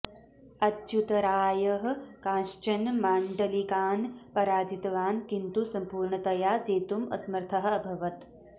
अच्युतरायः कांश्चन माण्डलिकान् पराजितवान् किन्तु सम्पूर्णतया जेतुम् असमर्थः अभवत्